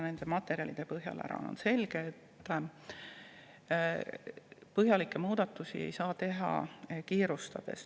Nende materjalide põhjal on selge, et põhjalikke muudatusi ei saa teha kiirustades.